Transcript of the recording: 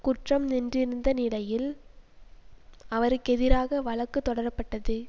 குற்றம் என்றிருந்த நிலையில் அவருக்கெதிராக வழக்கு தொடரப்பட்டது